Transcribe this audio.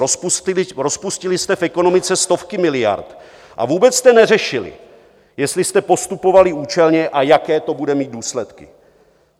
Rozpustili jste v ekonomice stovky miliard a vůbec jste neřešili, jestli jste postupovali účelně a jaké to bude mít důsledky.